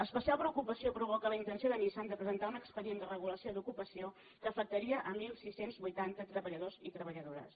especial preocupació provoca la intenció de nissan de presentar un expedient de regulació d’ocupació que afectaria setze vuitanta treballadors i treballadores